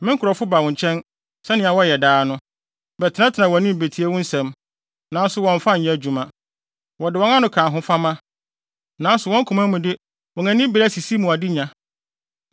Me nkurɔfo ba wo nkyɛn, sɛnea wɔyɛ daa no, bɛtenatena wʼanim betie wo nsɛm, nanso wɔmmfa nyɛ adwuma. Wɔde wɔn ano ka ahofama, nanso wɔn koma mu de, wɔn ani bere asisi mu adenya.